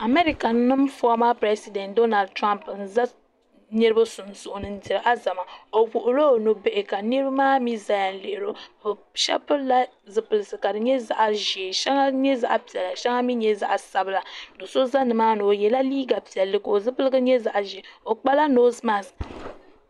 America nim fɔma pirɛsidɛnt Donald Trump n za niriba sunsuuni n diri alizama o wuɣi la o nubihi ka niriba maa mi zaya n lihiri o shɛba pili la zipilisi ka di nyɛ zaɣa ʒee shɛŋa nyɛ zaɣa piɛla shɛŋa mi nyɛ zaɣa sabila doo so za ni maa ni o yɛla liiga piɛlli ka o zipiligu nyɛ zaɣa ʒee o kpa la noosi maks.